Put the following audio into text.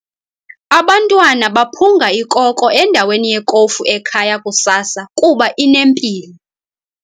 Abantwana baphunga ikoko endaweni yekofu ekhaya kusasa kuba inempilo.